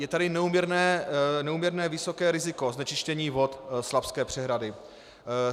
Je tady neúměrně vysoké riziko znečištění vod Slapské přehrady.